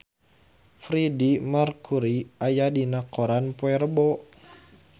Freedie Mercury aya dina koran poe Rebo